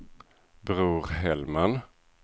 Bror Hellman